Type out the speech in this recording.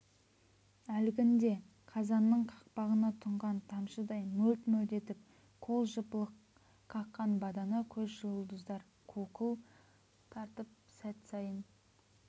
әлгінде қазанның қақпағына тұнған тамшыдай мөлт-мөлт етіп қол жыпылық қаққан бадана көз жұлдыздар қуқыл тартып сәт сайын